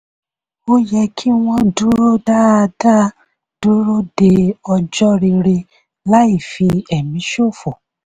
ó yẹ kí wọ́n dúró dáadáa dúró de ọjọ́ rere láì fi ẹ̀mí ṣọ́fò.